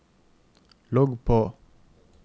logg på